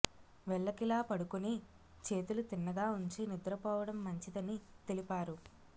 వెల్లకిలా పడుకుని చేతులు తిన్నగా ఉంచి నిద్రపోవడం మంచిదని తెలిపారు